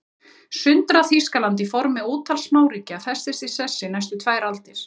Sundrað Þýskaland í formi ótal smáríkja festist í sessi næstu tvær aldir.